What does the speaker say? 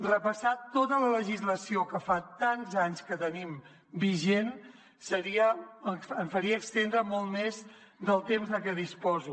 repassar tota la legislació que fa tants anys que tenim vigent em faria estendre molt més del temps de què disposo